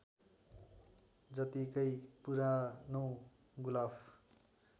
जतिकै पुरानो गुलाफ